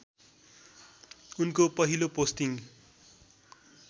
उनको पहिलो पोस्टिङ